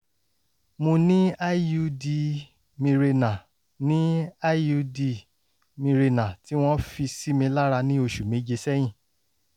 mo ní iud mirena ní iud mirena tí wọ́n fi sí mi lára ní oṣù méje sẹ́yìn